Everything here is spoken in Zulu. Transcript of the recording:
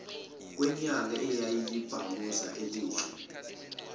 kwenyanga eyayiyibhamuza elihle